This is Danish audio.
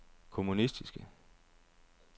kommunistiske